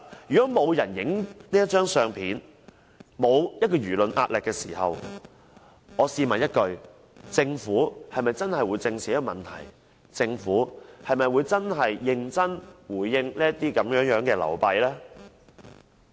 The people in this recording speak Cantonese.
如果沒有人拍下這張相片、沒有輿論壓力，試問政府是否真的會正視這個問題、認真回應這些流弊呢？